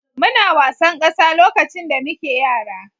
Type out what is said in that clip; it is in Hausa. Muna wasan ƙasa lokacin da muke yara.